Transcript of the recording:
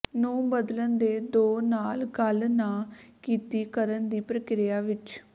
ਨੂੰ ਬਦਲਣ ਦੇ ਦੋ ਨਾਲ ਗੱਲ ਨਾ ਕੀਤੀ ਕਰਨ ਦੀ ਪ੍ਰਕਿਰਿਆ ਵਿੱਚ